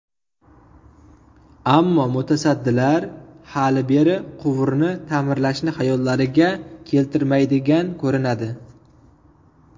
Ammo mutasaddilar hali-beri quvurni ta’mirlashni xayollariga keltirmaydigan ko‘rinadi.